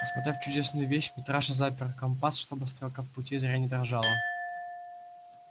осмотрев чудесную вещь митраша запер компас чтобы стрелка в пути зря не дрожала